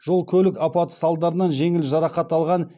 жол көлік апаты салдарынан жеңіл жарақат алған